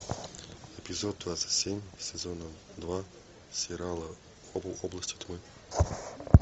эпизод двадцать семь сезона два сериала области тьмы